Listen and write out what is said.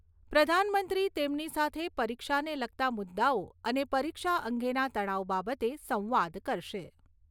પ્રધાનમંત્રી તેમની સાથે પરીક્ષાને લગતા મુદ્દાઓ અને પરીક્ષા અંગેના તણાવ બાબતે સંવાદ કરશે.